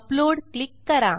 upload click करा